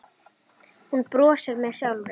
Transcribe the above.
Ég les mikið.